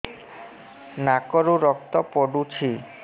ନାକରୁ ରକ୍ତ ପଡୁଛି